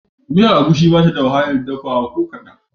Miyan Egusi ba ta da wahalar dafawa ko kaɗan